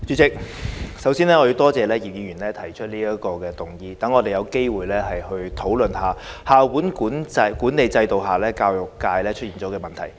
代理主席，首先，我多謝葉議員動議這項議案，讓我們有機會討論校本管理制度下教育界出現的問題。